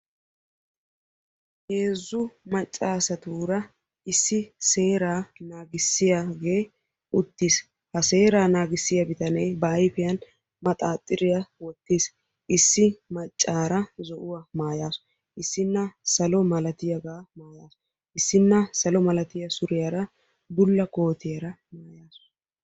heezzu macca assaturra issi seera naagisiyaa bittane uttisi ha bittanekka ba ayfiyani manaxiriya wottisi issi maccara zo"uwa maayassu issina salo mera mayuwaakka maayassu.